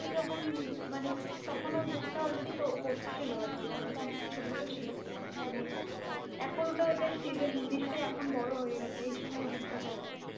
এখন যখন মানে তখন ভুট্টা already হচ্ছিল আর কি মানে তখন একটু ছোট ছোট ছিল মানে এখন ওইটার season এখন নিশ্চয়ই বড় হয়ে গেছে এই সময় ভুট্টা চাষ হয় ।